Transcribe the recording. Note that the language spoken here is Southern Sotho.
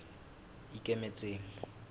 ikemetseng